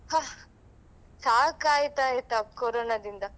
ಹ ಸಾಕಾಯಿತಾಯ್ತಾ ಕೊರೋನದಿಂದ.